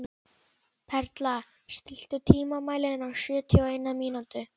Perla, stilltu tímamælinn á sjötíu og eina mínútur.